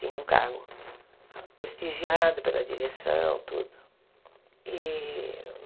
Tinha um cargo prestigiado pela direção, tudo.